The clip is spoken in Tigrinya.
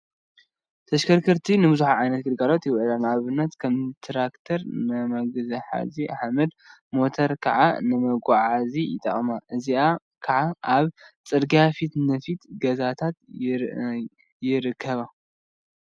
ተሽከርከርቲ ንቡዙሕ ዓይነት ግልጋሎት ይውዕሉ፡፡ ንአብነት ከም ትራክተር ንመግሐጢ ሓመድ፣ ሞተር ከዓ ንመጓዓዓዚ ይጠቅሙ፡፡ እዚአን ከዓ አብ ፅርግያ ፊት ንፊት ገዛታት ይርከባ፡፡